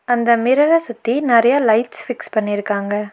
அந்த மிரர சுத்தி நறைய லைட்ஸ் ஃபிக்ஸ் பண்ணிருக்காங்க.